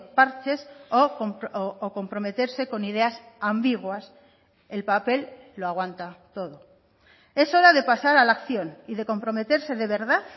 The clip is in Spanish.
parches o comprometerse con ideas ambiguas el papel lo aguanta todo es hora de pasar a la acción y de comprometerse de verdad